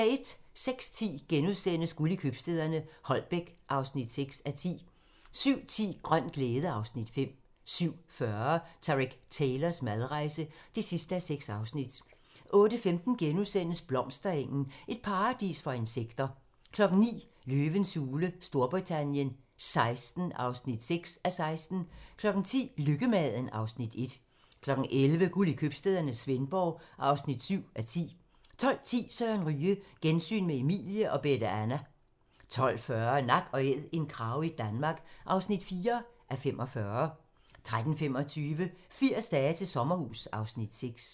06:10: Guld i købstæderne - Holbæk (6:10)* 07:10: Grøn glæde (Afs. 5) 07:40: Tareq Taylors madrejse (6:6) 08:15: Blomsterengen - et paradis for insekter * 09:00: Løvens hule Storbritannien XVI (6:16) 10:00: Lykkemaden (Afs. 1) 11:00: Guld i købstæderne - Svendborg (7:10) 12:10: Søren Ryge: Gensyn med Emilie og Bette Anna 12:40: Nak & æd - en krage i Danmark (4:45) 13:25: 80 dage til sommerhus (Afs. 6)